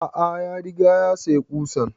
A'a ya rigaya ya sayi ƙusan